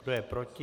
Kdo je proti?